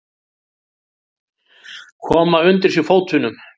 Koma undir sig fótunum.